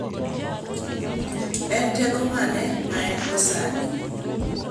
En teko mane ma engo sani?